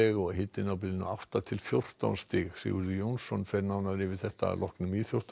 og hitinn á bilinu átta til fjórtán stig Sigurður Jónsson veðurfræðingur fer nánar yfir þetta að loknum íþróttum